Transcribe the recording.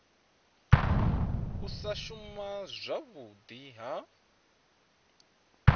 u sa shuma zwavhudi ha